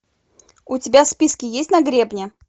у тебя в списке есть на гребне